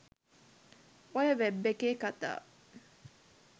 ඔය වෙබ් එකේ කතා